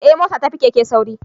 Eh mota ta fi keke sauri